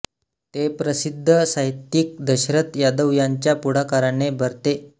ते प्रसिद्ध साहित्यिक दशरथ यादव यांच्या पुढाकाराने भरते